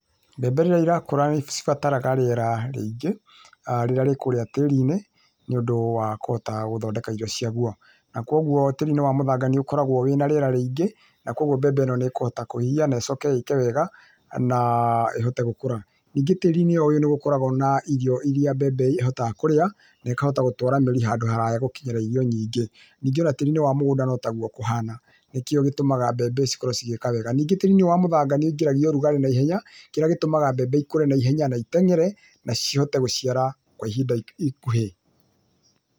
Mbembe rĩrĩa irakũra nĩ cibataraga rĩera rĩingĩ, rĩrĩa rĩkũrĩa tĩri-inĩ nĩ ũndũ wa kũhota gũthondeka irio ciaguo, na kwoguo tĩri-inĩ wa mũthanga nĩ ũkoragwo na rĩera rĩingĩ na kwoguo mbembe ĩno nĩ kũhota kũhihia na ĩcoke ĩke wega na ĩhote gũkũra. Ningĩ tĩri-inĩ o ũyũ nĩ gũkoragwo na irio iria mbembe ĩrĩhotaga kũrĩa na ĩkahota gũtwara mĩri handũ haraya gũkinyĩra irio nyingĩ. Ningĩ o na tĩri-inĩ wa mũgũnda no taguo kũhana, nĩkĩo gĩtũmaga mbembe cikorwo cigĩka wega. Ningĩ tĩri-inĩ ũyũ wa mũthanga nĩ wũingĩragia ũrugarĩ na ihenya, kĩrĩa gĩtũmaga mbembe ikũre na ihenya na iteng'ere na cihote gũciara kwa ihinda ikuhĩ.